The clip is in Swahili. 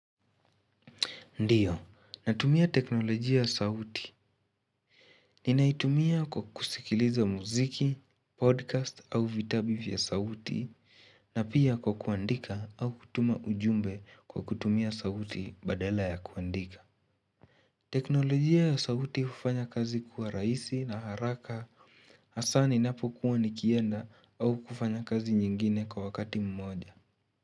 Ndiyo, natumia teknolojia ya sauti. Ninaitumia kwa kusikiliza mziki, podcast au vitabu vya sauti, na pia kwa kuandika au kutuma ujumbe kwa kutumia sauti badala ya kuandika. Teknolojia ya sauti hufanya kazi kuwa rahisi na haraka, hasa ninapo kuwa nikienda au kufanya kazi nyingine kwa wakati mmoja.